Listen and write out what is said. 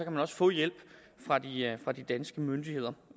man også få hjælp fra hjælp fra de danske myndigheder